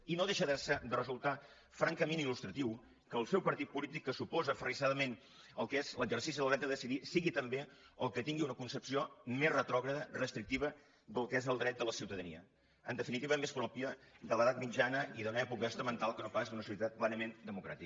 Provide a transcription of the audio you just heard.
i no deixa de resultar francament il·lustratiu que el seu partit polític que s’oposa aferris·sadament al que és l’exercici del dret a decidir sigui també el que tingui una concepció més retrògrada res·trictiva del que és el dret de la ciutadania en definitiva més pròpia de l’edat mitjana i d’una època estamental que no pas d’una societat plenament democràtica